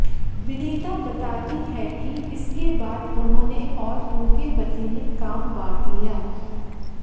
विनीता बताती हैं कि इसके बाद उन्होंने और उनके पति ने काम बांट लिया